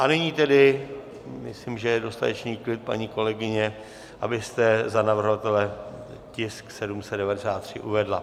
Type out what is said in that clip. A nyní tedy myslím, že je dostatečný klid, paní kolegyně, abyste za navrhovatele tisk 793 uvedla.